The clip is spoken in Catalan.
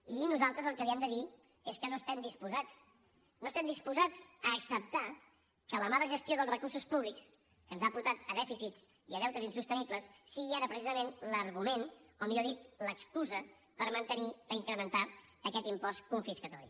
i nosaltres el que li hem de dir és que no estem disposats no estem disposats a acceptar que la mala gestió dels recursos públics que ens ha portat a dèficits i a deutes insostenibles sigui ara precisament l’argument o millor dit l’excusa per mantenir i incrementar aquest impost confiscatori